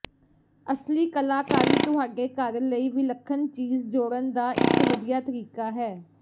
ਅਸਲੀ ਕਲਾਕਾਰੀ ਤੁਹਾਡੇ ਘਰ ਲਈ ਵਿਲੱਖਣ ਚੀਜ਼ ਜੋੜਨ ਦਾ ਇੱਕ ਵਧੀਆ ਤਰੀਕਾ ਹੈ